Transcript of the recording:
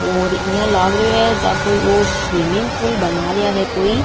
और इया लाग रहे है जा कोई स्विमिंग पूल बना रहा है कोई।